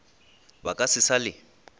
ba ka se sa le